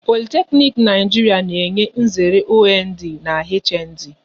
Politeknic n'Naijiria na-enye nzere OND na HND